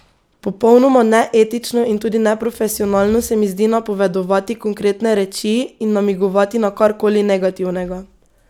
Popolnoma neetično in tudi neprofesionalno se mi zdi napovedovati konkretne reči in namigovati na kar koli negativnega.